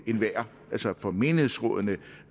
enhver for menighedsrådene